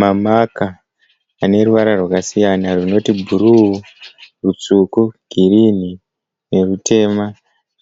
Mamaka ane ruvara rwakasiyana runoti bhuruu rutsvuku girinini erutema .